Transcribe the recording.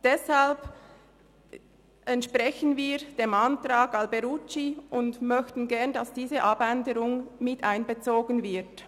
Deshalb entsprechen wir dem Antrag Alberucci und möchten gerne, dass diese Abänderung miteinbezogen wird.